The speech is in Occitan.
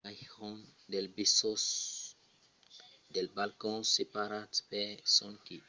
callejón del besos alèia del poton. dos balcons separats per sonque 69 centimètres es lo centre d'una vièlha legenda d'amor